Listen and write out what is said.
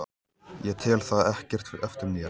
Ég tel það ekkert eftir mér.